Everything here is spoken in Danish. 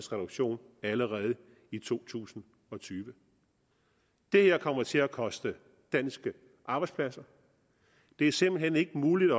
reduktion allerede i to tusind og tyve det her kommer til at koste danske arbejdspladser det er simpelt hen ikke muligt